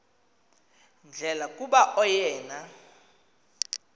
ndlela kuba oyena